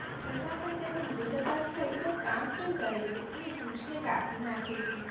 છતાં પણ તેનો વિરોધભાસ થઇ આવા કામ કેમ કરે છે અને વૃક્ષ ને કાપી નાખે છે